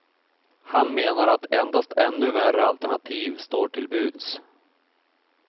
Han menar att endast ännu värre alternativ står till buds.